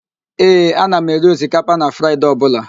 Ee, ana m eri osikapa na Fraịde ọbụla